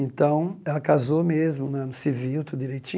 Então, ela casou mesmo né, no civil tudo